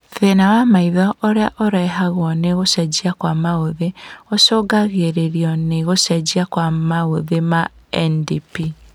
Thĩna wa maitho ũrĩa ũrehagwo nĩ gũcenjia kwa maũthĩ ũcũngagĩrĩrio nĩ gũcenjia kwa maũthĩ ma NDP